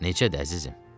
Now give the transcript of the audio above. Necədir əzizim?